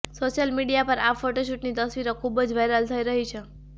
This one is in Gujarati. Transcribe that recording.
સોશિયલ મીડિયા પર આ ફોટોશૂટની તસવીરો ખૂબ જ વાઈરલ થઈ રહી છે